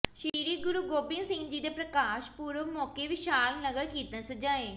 ਸ੍ਰੀ ਗੁਰੂ ਗੋਬਿੰਦ ਸਿੰਘ ਜੀ ਦੇ ਪ੍ਰਕਾਸ਼ ਪੁਰਬ ਮੌਕੇ ਵਿਸ਼ਾਲ ਨਗਰ ਕੀਰਤਨ ਸਜਾਏ